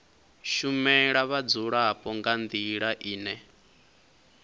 shumela vhadzulapo nga ndila ine